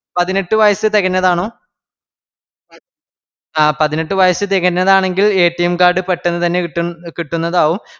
പതിനെട്ട് വയസ്സ് തികഞ്ഞതാണോ ആ പതിനെട്ട് വയസ്സ് തികഞ്ഞതാണെങ്കിൽ Card പെട്ടെന്ന്തന്നെ കിട്ടുന്ന കിട്ടുന്നതാവും